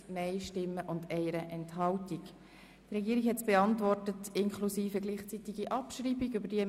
Die Regierung hat gleichzeitige Abschreibung beantragt.